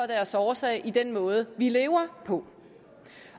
deres årsag i den måde vi lever på